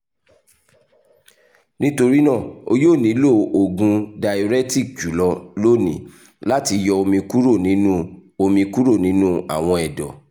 nitorina o yoo nilo oogun diuretic julọ loni lati yọ omi kuro ninu omi kuro ninu awọn ẹdọ